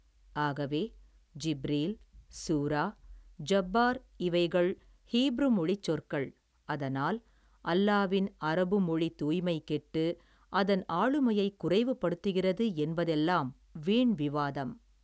ஆகவே ஜிப்ரீல் சூரா ஜப்பார் இவைகள் ஹீப்ரு மொழிச் சொற்கள் அதனால் அல்லாவின் அரபு மொழி தூய்மைக் கெட்டு அதன் ஆளுமையைக் குறைவு படுத்துகிறது என்பதல்லாம் வீன் விவாதம்.